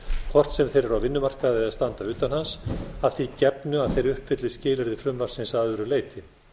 hvort sem þeir eru á vinnumarkaði eða standa utan hans að því gefnu að þeir uppfylli skilyrði frumvarpsins að öðru leyti